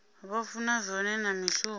vha funa zwone na mishumo